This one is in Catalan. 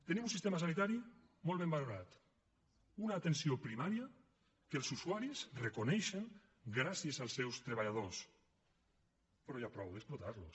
tenim un sistema sanitari molt ben valorat una atenció primària que els usuaris reconeixen gràcies als seus treballadors però ja prou d’explotar los